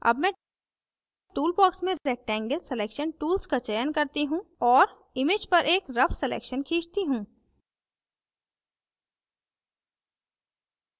अब मैं टूलबॉक्स से rectangle selection tools का चयन करती हूँ और image पर एक rough selection खींचती हूँ